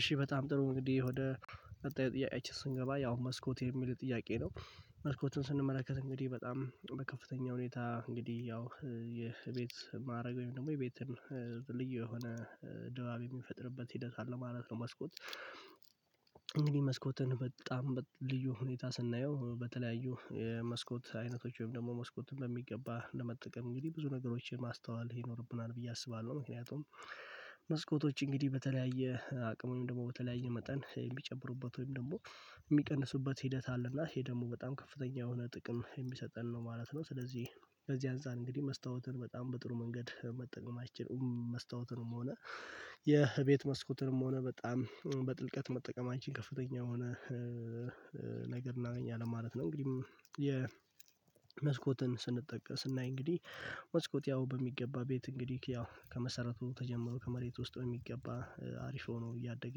እሺ በጣም ጥሩ እንግዲህ ወደ ቀጣይ ጥያቄአችን ስንገባ ያው መስኮት የሚል ጥያቄ ነው መስኮቱን ስንመለከት እንግዲህ በጣም በከፍተኛ ሁኔታ እንግዲህ ያው የቤት ማዕረግ ወይም ደሞ የቤትን ልዩ የሆነ ድባብ የሚፈጥርበት ሂደት አለው ማለት ነው። መስኮት መስኮትን በጣም ልዩ ሁኔታ ስናየው በተለያዩ የመስኮት አይነቶች ወይም ደግሞ መስኮትን በሚገባ ለመጠቀም እንግዲህ ብዙ ነገሮችን ማስተዋል ይኖርብናል ብዬ አስባለሁ ምክንያቱም መስኮቶች እንግዲህ በተለያየ አቅምም ደግሞ በተለያየ መጠን እሚጨብሩበት ወይም ደግሞ እሚቀንሱበት ሂደት አለ እና ይሄ ደግሞ በጣም ከፍተኛ የሆነ ጥቅም የሚሰጠን ነው ማለት ነው። ስለዚህ በዚህ አንፃር እንግዲህ መስታወትን በጣም በጥሩ መንገድ መጠቀማችን መስታወትንም ሆነ የቤት መስኮትንም ሆነ በጣም በጥልቀት መጠቀማችን ከፍተኛ የሆነ እናገኛለን ማለት ነው። እንግዲህ መስኮትን ስንጠቀም ስናይ እንግዲህ መስኮት ያው በሚገባ ቤት እንግዲህ ያው ከመሰረቱ ተጀመሮ ከመሬት ውስጥ በሚገባ አሪፍ ሆኖ እያደገ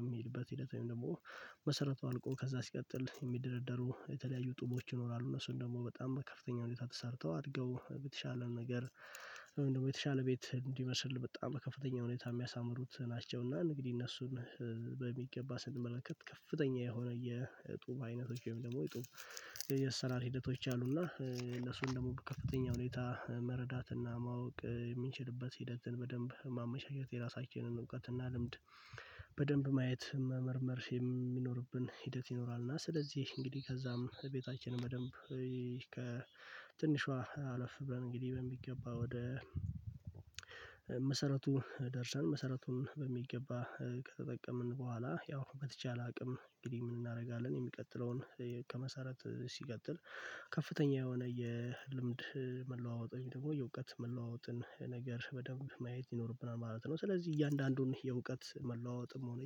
በሚልበት ሂደት ወይም ደግሞ መሰረቱ አልቆ ከዛ ሲቀጥል የሚደረደሩ የተለያዩ ጡቦች ይኖራሉ እነሱን ደግሞ በጣም በከፍተኛ ሁኔታ ተሰርተው አድገው በተሻለ ነገር ወይም ደሞ የተሻለ ቤት እንዲመስል በጣም በከፍተኛ ሁኔታ እሚያሳምሩት ናቸው። እና እንግዲህ እነሱን በሚገባ ስንመለከት ከፍተኛ የሆነ የጡብ አይነቶች ወይም ደግሞ የጡብ የአሰራር ሂደቶች አሉና እነሱን ደግሞ በከፍተኛ ሁኔታ መረዳትና ማወቅ የምንችልበት ሂደትን በደንብ ማመቻቸት የራሳችንን እውቀትና ልምድ በደንብ ማየት መመርመር የሚኖርብን ሂደት ይኖራል። እና ስለዚህ እንግዲህ ከዛም ቤታችንን በደንብ ከትንሿ አለፍ ብለን እንግዲህ በሚገባ ወደ መሰረቱ ደርሰን መሰረቱን በሚገባ ከተጠቀምን ቡሃላ ያው በተቻለ አቅም እንግዲህ ምን እናደርጋለን የሚቀጥለውን ከመሰረት ሲቀጥል ከፍተኛ የሆነ የልምድ መለዋወጥ ወይም ደግሞ የዕውቀት መለዋወጥን ነገር በደንብ ማየት ይኖርብናል ማለት ነው። ስለዚህ እያንዳንዱን የዕውቀት መለዋወጥም ሆነ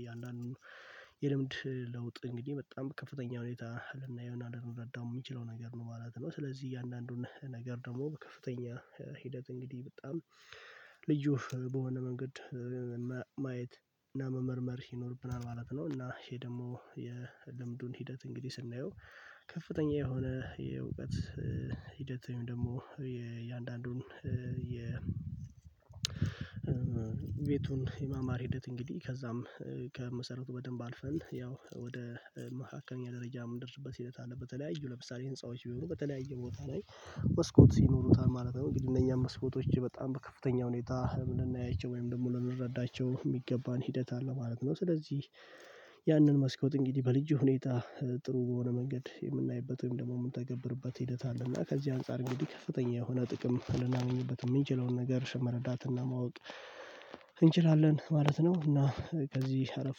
የእያንዳንዱን የልምድ ለውጥ እንግዲህ በጣም ከፍተኛ ሁኔታ ልናየውና አልረዳም እምችለው ነገር ነው ማለት ነው። ስለዚህ እያንዳንዱን ነገር ደግሞ በከፍተኛ ሂደት እንግዲህ በጣም ልዩ በሆነ መንገድ ማየት እና መመርመር ይኖርብናል ማለት ነው። እና ይሄ ደሞ የልምዱን ሂደት እንግዲህ ስናየው ከፍተኛ የሆነ የእውቀት ሂደት ደግሞ የእያንዳንዱን የቤቱን የማማር ሂደት እንግዲህ ከዛም ከመሰረቱ በደንብ አልፈን ያው ወደ መካከለኛ ደረጃ እምንደርስበት ሂደት አለ በተለያዩ ለምሳሌ ህንፃዎች ቢሆኑ በተለያ ቦታ ላይ መስኮት ይኖሩታል ማለት ነው። እንግዲህ እነኛም መስኮቶች በጣም በከፍተኛ ሁኔታ ወይም ልናያቸው ወይም ደግሞ ልንረዳቸው እሚገባን ሂደት አለ ማለት ነው። ስለዚህ ያንን መስኮት እንግዲህ በልዩ ሁኔታ ጥሩ በሆነ መንገድ የምናይበት ወይም ደግሞ የምንተገብርበት ሂደት አለ እና ከዚህ አንፃር እንግዲህ ከፍተኛ የሆነ ጥቅም ልናምንበት እምንችለውን ነገር መረዳትና ማወቅ እንችላለን ማለት ነው። እና ከዚህ አለፍ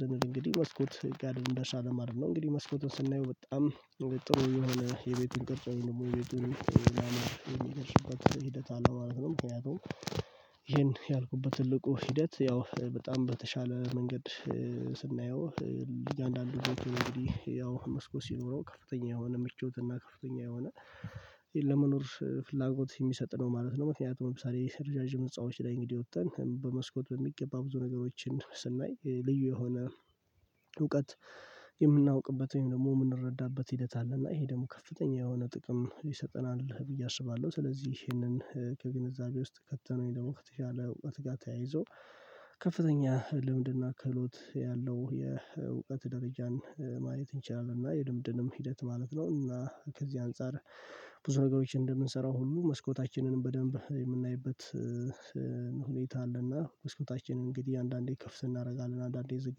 ስንል እንግዲህ መስኮት ጋ እንደርሳለን ማለት ነው። እንግዲህ መስኮትን ስናይ በጣም ጥሩ የሆነ የቤትን ቅርጽ ወይም ደግሞ የቤትን ማማር የሚገልፅበት ሂደት አለው ማለት ነው። ምክንያቱም ይሄን ያልኩበት ትልቁ ሂደት ያው በጣም በተሻለ መንገድ ስናየው እያንዳንዱ ቤት እንግዲህ ያው መስኮት ሲኖረው ከፍተኛ የሆነ ምቾትና ከፍተኛ የሆነ ለመኖር ፍላጎት የሚሰጥ ነው ማለት ነው። ምክንያቱም ለምሳሌ ረዣዥም ህንጻዎች ላይ እንግዲህ ወጥተን በመስኮት በሚገባ ብዙ ነገሮችን ስናይ ልዩ የሆነ እውቀት የምናውቅበት ወይም ደግሞ እምንረዳበት ሂደት አለ እና ይሄ ደግሞ ከፍተኛ የሆነ ጥቅም ይሰጠናል ብዬ አስባለሁ። ስለዚህ ይሄንን ከግንዛቤ ውስጥ ከተን ወይ ደሞ ከተሻለ እውቀት ጋር ተያይዞ ከፍተኛ ልምድና ክህሎት ያለው የእውቀት ደረጃን ማየት እንችላለን እና የልምድንም ሂደት ማለት ነው። እና ከዚህ አንፃር ብዙ ነገሮችን እንደምንሰራው ሁሉ መስኮታችንንም በደንብ የምናይበት ሁኔታ አለና መስኮታችንን እንግዲህ አንዳንዴ ክፍት እናደርጋለን አንዳንዴ ዝግ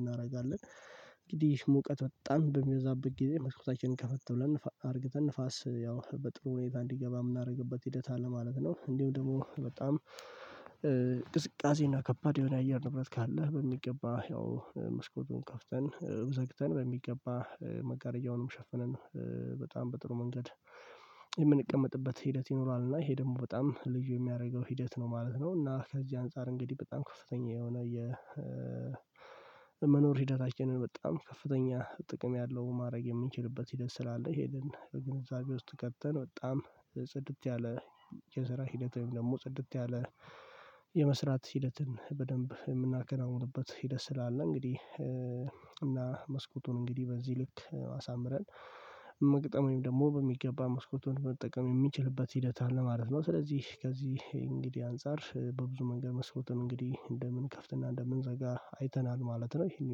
እናደርጋለን እንግዲህ ሙቀት በጣም በሚበዛበት ጊዜ መስኮታችንን ከፈት ብለን አድርገን ንፋስ ያው በጥሩ ሁኔታ እንዲገባ እምናደርግበት ሂደት አለ ማለት ነው። እንዲሁም ደግሞ በጣም ቅዝቃዜ እና ከባድ የሆነ አየር ንብረት ካለ በሚገባ ያው መስኮቱን ከፍተን ዘግተን በሚገባ መጋረያውንም ሸፍነን በጣም በጥሩ መንገድ የምንቀመጥበት ሂደት ይኖራል እና ይሄ ደግሞ በጣም ልጁ የሚያደርገው ሂደት ነው ማለት ነው። እና ከዚህ አንፃር እንግዲህ በጣም ከፍተኛ የሆነ መኖር ሂደታችንን በጣም ከፍተኛ ጥቅም ያለው ማድረግ የምንችልበት ሂደት ስላለ ይሄንን ከግንዛቤ ውስጥ ከተን በጣም ጽድት ያለ የስራ ሂደት ወይም ደግሞ ጽድት ያለ ሂደትን በደንብ የምናከናውንበት ሂደት ስላለ እንግዲህ እና መስኮቱን እንግዲህ በዚህ ልክ አሳምረን መግጠም ወይም ደሞ በሚገባ መስኮቱን መጠቀም የሚችልበት ሂደት አለ ማለት ነው። ስለዚህ ከዚህ እንግዲህ አንፃር በብዙ መንገድ መስኮቱን እንግዲህ እንደምንከፍትና እንደምንዘጋ አይተናል ማለት ነው። ይሄን